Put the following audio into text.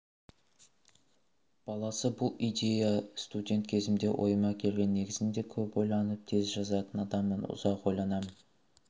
баласы бұл идея студент кезімде ойыма келген негізінде көп ойланып тез жазатын адаммын ұзақ ойланамын